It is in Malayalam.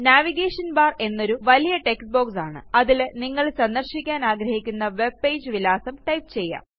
നാവിഗേഷൻ ബാർ എന്നതൊരു വലിയ ടെക്സ്റ്റ് ബോക്സ് ആണ് അതിൽ നിങ്ങൾ സന്ദർശിക്കാനാഗ്രഹിക്കുന്ന വെബ്പേജ് വിലാസം ടൈപ്പ് ചെയ്യാം